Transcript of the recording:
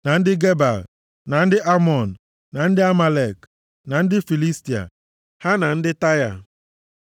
na ndị Gebal, na ndị Amọn, na ndị Amalek, na ndị Filistia, ha na ndị Taịa.